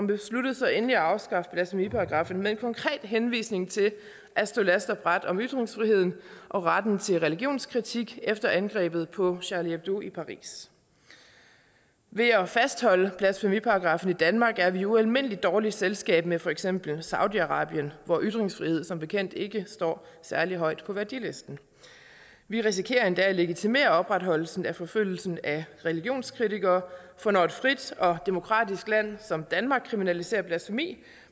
besluttede så endelig at afskaffe blasfemiparagraffen med en konkret henvisning til at stå last og brast om ytringsfriheden og retten til religionskritik efter angrebet på charlie hebdo i paris ved at fastholde blasfemiparagraffen i danmark er vi i ualmindelig dårligt selskab med for eksempel saudi arabien hvor ytringsfrihed som bekendt ikke står særlig højt på værdilisten vi risikerer endda at legitimere opretholdelsen af forfølgelsen af religionskritikere for når et frit og demokratisk land som danmark kriminaliserer blasfemi